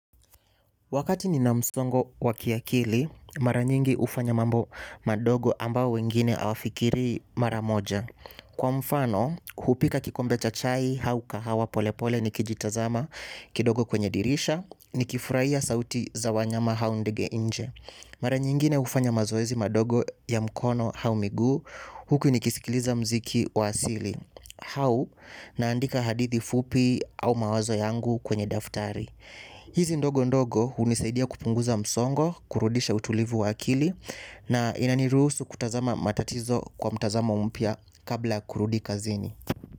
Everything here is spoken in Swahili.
Wakati nina msongo wa kiakili, mara nyingi hufanya mambo madogo ambayo wengine hawafikirii kwa mfano hupika kikombe cha chai au kahawa pole pole nikijitazama kidogo kwenye dirisha nikifurahia sauti za wanyama au ndege. Mara nyingine hufanya mazoezi madogo ya mkono au miguu, huku ni kisikiliza muziki wa asili. Au, naandika hadithi fupi au mawazo yangu kwenye daftari. Hizi ndogo ndogo hunisaidia kupunguza msongo, kurudisha utulivu wa akili na inaniruhusu kutazama matatizo kwa mtazama mpya kabla ya kurudi kazini.